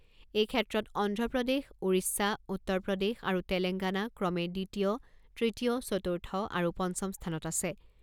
এই ক্ষেত্ৰত অন্ধ্ৰপ্ৰদেশ, ওড়িশা, উত্তৰ প্ৰদেশ আৰু তেলেংগানা ক্ৰমে দ্বিতীয়, তৃতীয়, চতুৰ্থ আৰু পঞ্চম স্থানত আছে।